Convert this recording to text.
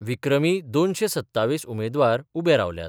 विक्रमी दोनशे सत्तावीस उमेदवार उभे रावल्यात.